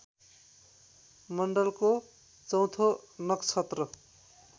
मण्डलको चौथो नक्षत्र